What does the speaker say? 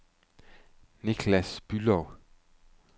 Nicklas Bülow